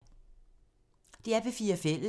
DR P4 Fælles